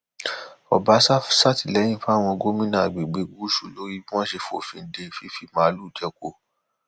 ọbàṣà sàtìlẹyìn fáwọn gómìnà àgbègbè gúúsù lórí bí wọn ṣe fòfin de fífi màálùú jẹko